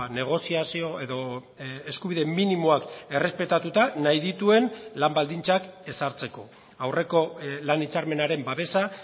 negoziazio edo eskubide minimoak errespetatuta nahi dituen lan baldintzak ezartzeko aurreko lan hitzarmenaren babesa